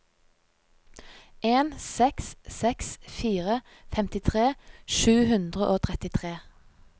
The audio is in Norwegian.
en seks seks fire femtitre sju hundre og trettitre